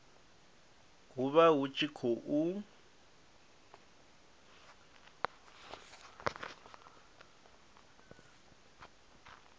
hu vha hu tshi khou